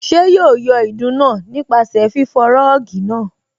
Ṣé yóò yọ ìdun náà nípasẹ̀ fífọ rọ́ọ̀gì náà?